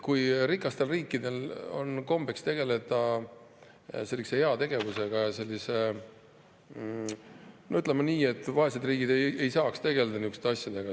Rikastel riikidel on kombeks tegeleda heategevusega, aga, ütleme nii, vaesed riigid ei saaks tegeleda niisuguste asjadega.